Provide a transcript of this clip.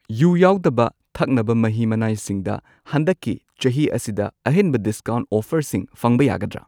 U ꯌꯥꯎꯗꯕ ꯊꯛꯅꯕ ꯃꯍꯤ ꯃꯅꯥꯏꯁꯤꯡꯗ ꯍꯟꯗꯛꯀꯤ ꯆꯍꯤ ꯑꯁꯤꯗ ꯑꯍꯦꯟꯕ ꯗꯤꯁꯀꯥꯎꯟꯠ ꯑꯣꯐꯔꯁꯤꯡ ꯐꯪꯕ ꯌꯥꯒꯗ꯭ꯔꯥ?